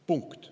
Punkt.